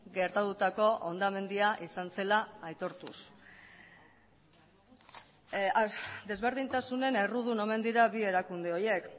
gertatutako hondamendia izan zela aitortuz desberdintasunen errudun omen dira bi erakunde horiek